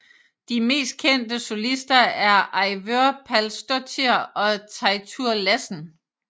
De mest kendte solister er Eivør Pálsdóttir og Teitur Lassen